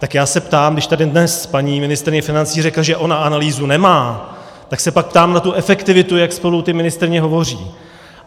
Tak já se ptám, když tady dnes paní ministryně financí řekla, že ona analýzu nemá, tak se pak ptám na tu efektivitu, jak spolu ty ministryně hovoří.